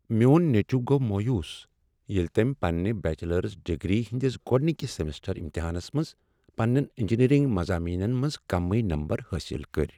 میٛون نیٚچُو گوٚو مویوس ییٚلہ تٔمۍ پنٛنہ بیچلر ڈگری ہٕنٛدس گۄڈنکس سمسٹر امتحانس منٛز پنٛنین انجینیرنگ مضٲمینن منٛز کمٕے نمبر حٲصل کٔرۍ۔